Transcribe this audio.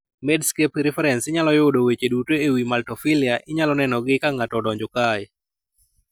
Medscape Reference inyalo yudo weche duto e wi maltophilia inyalo nenogi ka ng'ato odonjo kae.